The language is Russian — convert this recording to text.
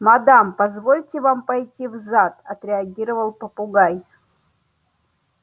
мадам позвольте вам пойти в зад отреагировал попугай